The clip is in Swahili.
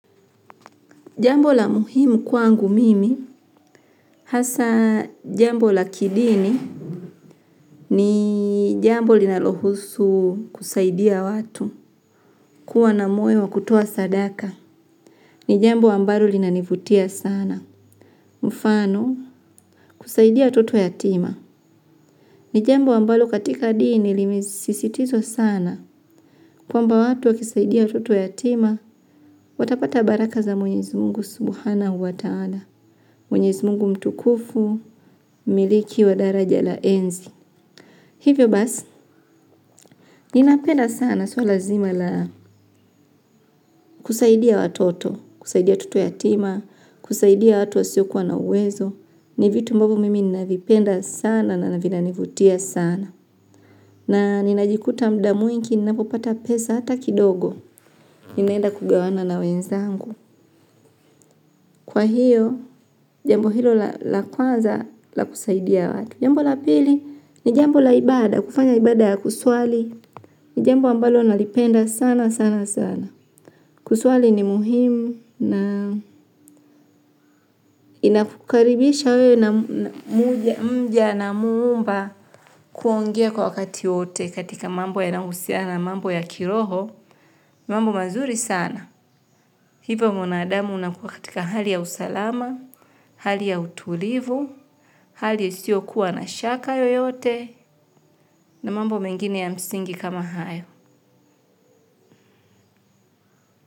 Jambo la muhimu kwangu mimi, hasa jambo la kidini, ni jambo linalohusu kusaidia watu, kuwa na moyo wa kutoaa sadaka, ni jambo ambalo linanivutia sana, mfano kusaidia watoto yatima, ni jambo ambalo katika dini limesisitizwa sana, kwamba watu wakisaidia watoto yatima, watapata baraka za mwenyezi Mungu subuhana uwa taada. Mwenyezi Mungu mtukufu, mmiliki wa daraja la enzi. Hivyo basi, ninapeda sana swala nzima la kusaidia watoto, kusaidia watoto yatima, kusaidia watu wasiokuwa na uwezo. Ni vitu ambavyo mimi ninavipenda sana na vina nivutia sana. Na ninajikuta muda mwingi, ninapopata pesa hata kidogo, ninaenda kugawana na wenzangu. Kwa hiyo, jambo hilo la kwanza la kusaidia watu. Jambo la pili, ni jambo la ibada, kufanya ibada ya kuswali, ni jambo ambalo nalipenda sana sana sana. Kuswali ni muhimu na inakukaribisha wewe na mja na Muumba kuongea kwa wakati wote katika mambo yanayohusia na mambo ya kiroho, mambo mazuri sana. Hivyo mwanadamu unakuwa katika hali ya usalama, hali ya utulivu, hali ya isiyokuwa na shaka yoyote na mambo mengine ya msingi kama hayo.